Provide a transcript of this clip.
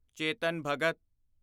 Chetan Bhagat